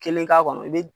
Kelen k'a kɔnɔ i be